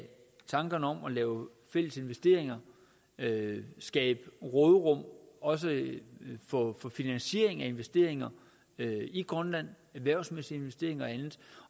tankerne om at lave fælles investeringer skabe råderum også for finansiering af investeringer i grønland erhvervsmæssige investeringer